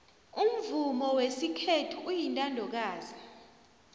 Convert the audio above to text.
umvumo wesikhethu uyintandokazi